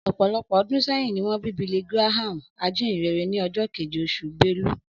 Ọ̀pọ̀lọpọ̀ ọdún sẹ́yìn ni wọ́n bí Billy Graham, ajínyìnrere, ní ọjọ́ keje, oṣù Belu